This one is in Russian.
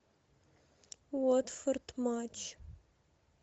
уотфорд матч